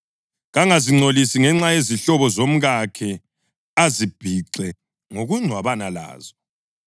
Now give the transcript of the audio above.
Kangazingcolisi ngenxa yezihlobo zomkakhe, azibhixe ngokungcwabana lazo.